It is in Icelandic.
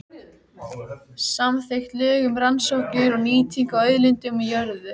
Nema með þessu öllu og óvígum her hugsýna kraminnar barnssálar.